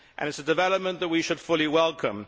This is a development that we should fully welcome.